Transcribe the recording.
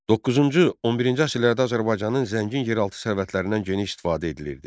9-cu 11-ci əsrlərdə Azərbaycanın zəngin yeraltı sərvətlərindən geniş istifadə edilirdi.